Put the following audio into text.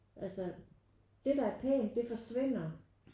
Altså det der er pænt det forsvinder